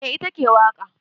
Eh ita ke waƙa.